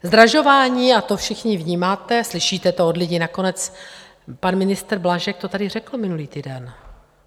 Zdražování - a to všichni vnímáte, slyšíte to od lidí, nakonec pan ministr Blažek to tady řekl minulý týden.